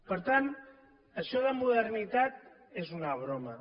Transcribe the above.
per tant això de modernitat és una broma